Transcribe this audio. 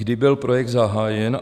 Kdy byl projekt zahájen?